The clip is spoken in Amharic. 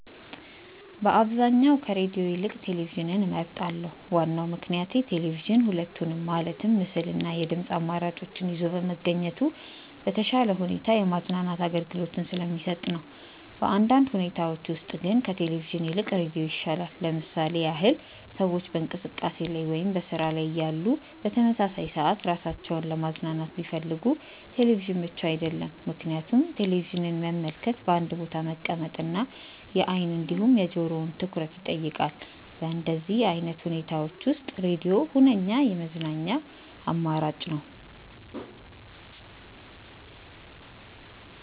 በአብዛኛው ከሬድዮ ይልቅ ቴሌቪዥንን እመርጣለሁ። ዋናው ምክንያቴ ቴሌቪዥን ሁለቱንም ማለትም ምስል እና የድምጽ አማራጮችን ይዞ በመገኘቱ በተሻለ ሁኔታ የማዝናናት አገልግሎትን ስለሚሰጥ ነው። በአንዳንድ ሁኔታዎች ውስጥ ግን ከቴሌቪዥን ይልቅ ሬዲዮ ይሻላል። ለምሳሌ ያህል ሰዎች በእንቅስቃሴ ላይ ወይም በስራ ላይ እያሉ በተመሳሳይ ሰዓት ራሳቸውን ለማዝናናት ቢፈልጉ ቴሌቪዥን ምቹ አይደለም፤ ምክንያቱም ቴሌቪዥንን መመልከት በአንድ ቦታ መቀመጥ እና የአይን እንዲሁም የጆሮውን ትኩረት ይጠይቃል። በእንደዚህ አይነት ሁኔታዎች ውስጥ ሬድዮ ሁነኛ የመዝናኛ አማራጭ ነው።